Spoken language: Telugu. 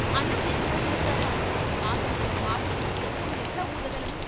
అన్నం లేకుండా చేస్తారా? ఆకలితో మాడుతూ శంఖం ఎట్లా వూదగలను?